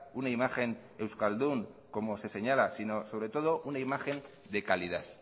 una imagen euskaldún como se señala sino sobre todo una imagen de calidad